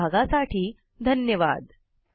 सहभागासाठी धन्यवाद